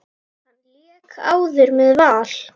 Hann lék áður með Val.